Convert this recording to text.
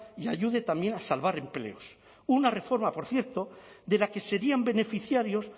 y ayude también a salvar empleos una reforma por cierto de la que serían beneficiarios